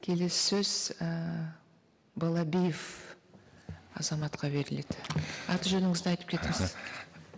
келесі сөз ііі балабиев азаматқа беріледі аты жөніңізді айтып кетіңіз